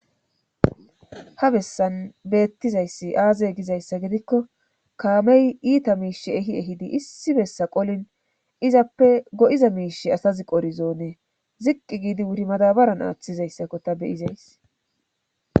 ha bessan beettizayssi aaze gizayssa gidikko kaamey iita miishi ehi ehidi issi bessa qolin izappe go7iza miish asazi qorizoone ziqqi giidi wuri madabaran aaththizayssakko ta beyizays